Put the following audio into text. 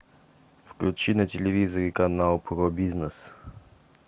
включи на телевизоре канал про бизнес